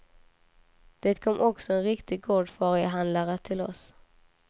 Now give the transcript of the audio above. Det kom också en riktig gårdfarihandlare till oss.